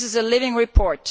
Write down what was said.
This is a living report.